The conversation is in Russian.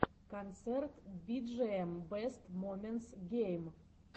концерт биджиэм бэст моментс гейм